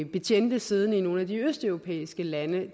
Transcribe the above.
betjente siddende i nogle af de østeuropæiske lande